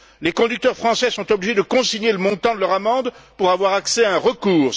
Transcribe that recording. Les conducteurs français sont obligés de consigner le montant de leur amende pour avoir accès à un recours.